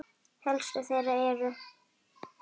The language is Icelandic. Helstu þeirra eru